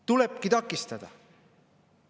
Tulebki takistada!